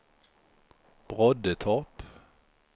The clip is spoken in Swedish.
Broddetorp